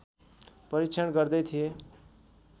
परीक्षण गर्दै थिए